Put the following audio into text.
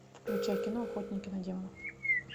включай кино охотники на демонов